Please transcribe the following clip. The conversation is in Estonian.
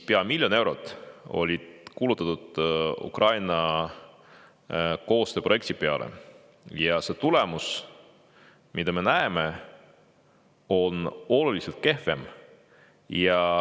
Pea miljon eurot kulutati Ukraina koostööprojekti peale ja see tulemus, mida me näeme, on üsna kehv.